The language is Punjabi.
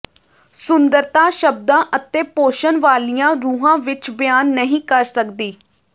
ਸੁੰਦਰਤਾ ਸ਼ਬਦਾਂ ਅਤੇ ਪੋਸ਼ਣ ਵਾਲੀਆਂ ਰੂਹਾਂ ਵਿਚ ਬਿਆਨ ਨਹੀਂ ਕਰ ਸਕਦੀ